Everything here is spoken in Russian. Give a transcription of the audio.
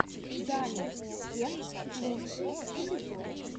даник кек лучший эпизод